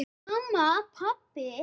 Mamma. pabbi.